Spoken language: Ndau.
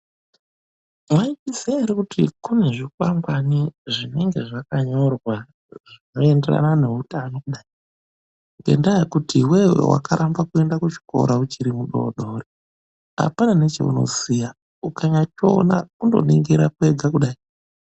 Mwaizviya ere kuti kunezvikwangwani zvinenge zvakanyorwa zvinoenderana neutano. Kudai ngendaa yekuti iwewe wakaramba kuenda kuchikora uchiri mudodori apana nechaunoziya, ukanyambochiona apana nechaunoziya kungoningira kwega kudai.